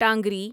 ٹانگری